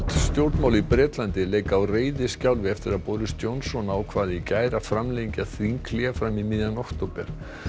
stjórnmál í Bretlandi leika á reiðiskjálfi eftir að Boris Johnson ákvað í gær að framlengja þinghlé fram í miðjan október